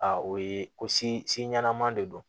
o ye ko si ɲɛnama de don